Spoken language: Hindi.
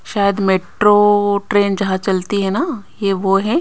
शायद मेट्रो ट्रेन जहां चलती है ना ये वो है।